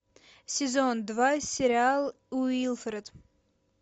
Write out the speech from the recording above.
сезон два сериал уилфред